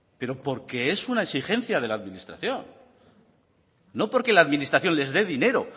pero porque es una exigencia de la administración no porque la administración les de dinero